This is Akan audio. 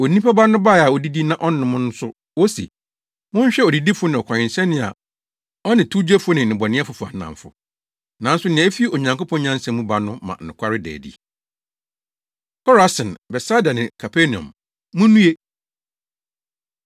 Onipa Ba no bae a odidi na ɔnom no nso wose, ‘Monhwɛ odidifo ne ɔkɔwensani a ɔne towgyefo ne nnebɔneyɛfo fa nnamfo.’ Nanso nea efi Onyankopɔn nyansa mu ba no ma nokware da adi.” Korasin, Betsaida Ne Kapernaum, Munnue!